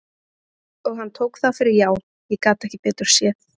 Og hann tók það fyrir já, ég gat ekki betur séð.